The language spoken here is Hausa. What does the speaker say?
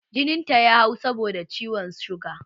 Jinin ta ya hau saboda ciwon suga